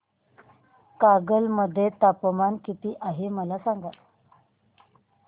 कागल मध्ये तापमान किती आहे मला सांगा